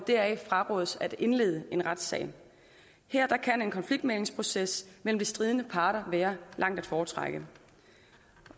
frarådes at indlede en retssag her kan en konfliktmæglingsproces mellem de stridende parter være langt at foretrække